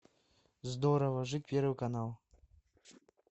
здорово жить первый канал